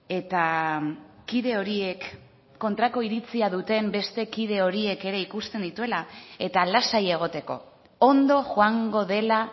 eta kide horiek kontrako iritzia duten beste kide horiek ere ikusten dituela eta lasai egoteko ondo joango dela